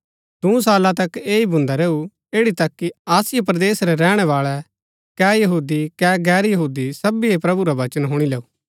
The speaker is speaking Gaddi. दूँ साला तक ऐह ही भून्दा रैऊ ऐड़ी तक कि आसिया परदेस रै रैहणैवाळै कै यहूदी कै गैर यहूदी सबीये प्रभु रा वचन हुणी लैऊ